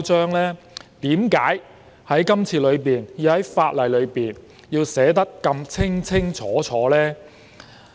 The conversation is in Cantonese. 為何政府這次要在法例上寫得如此清清楚楚？